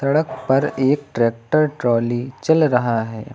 सड़क पर एक ट्रैक्टर ट्राली चल रहा है।